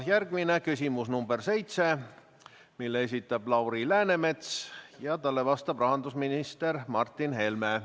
Järgmine on küsimus number 7, mille esitab Lauri Läänemets ja millele vastab rahandusminister Martin Helme.